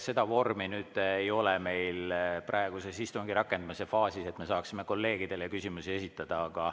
Seda vormi meil praeguses istungi rakendamise faasis ei ole, et me saame kolleegidele küsimusi esitada.